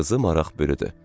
Qızı maraq bürüdü.